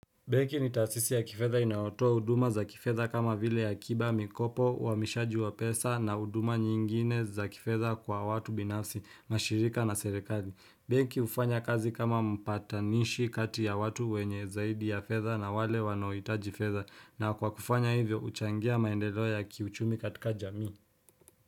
Benki ni taasisi ya kifedha inayotoa huduma za kifesha kama vile akiba, mikopo uhamishaji wa pesa na huduma nyingine za kifedha kwa watu binafsi, mashirika na serikali. Benki hufanya kazi kama mpatanishi kati ya watu wenye zaidi ya fedha na wale wanohitaji fedha na kwa kufanya hivyo huchangia maendelo ya kiuchumi katika jamii.